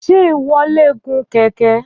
Ṣé ìwọ lè gun kẹ̀kẹ́?